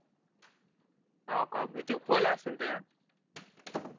होका भीती खोल असेल ते हा